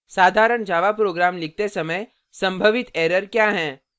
साधारण java program लिखते समय संभावित एरर क्या हैं